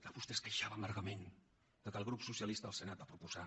vostè es queixava amargament que el grup socialista al senat va proposar